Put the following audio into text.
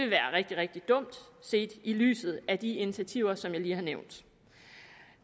være rigtig rigtig dumt set i lyset af de initiativer som jeg lige har nævnt